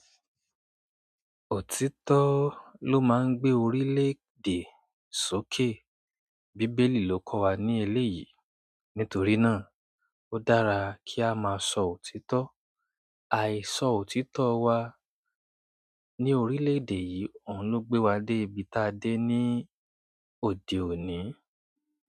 Òtítọ́ ló máa ń gbé orílẹ̀ èdè sókè. Bíbélì ló kọ́ wa ní eléyìí. Nítorí náà, ó dára kí á máa sọ òtítọ́. Àìsọ òtítọ́ wa ní orílẹ̀ èdè yìí òun ló gbé wa dé ibi táa dé ní òde òní.